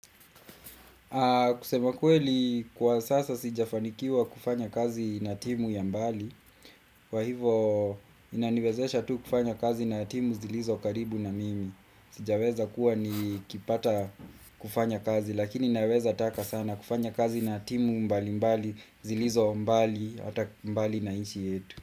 Kusema kweli kwa sasa sijafanikiwa kufanya kazi na timu ya mbali Kwa hivyo inaniwezesha tu kufanya kazi na timu zilizo karibu na mimi. Sijaweza kuwa nikipata kufanya kazi lakini naweza taka sana kufanya kazi na timu mbalimbali zilizo mbali hata mbali na nchi yetu.